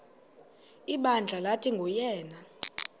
ibandla lathi nguyena